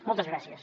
moltes gràcies